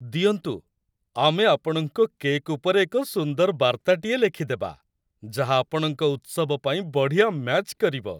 ଦିଅନ୍ତୁ, ଆମେ ଆପଣଙ୍କ କେକ୍ ଉପରେ ଏକ ସୁନ୍ଦର ବାର୍ତ୍ତାଟିଏ ଲେଖିଦେବା, ଯାହା ଆପଣଙ୍କ ଉତ୍ସବ ପାଇଁ ବଢ଼ିଆ ମ୍ୟାଚ୍ କରିବ।